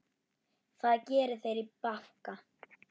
Það geri þeir í banka.